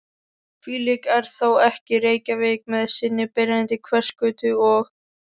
Hvílík er þá ekki Reykjavík með sinni byrjandi Hverfisgötu og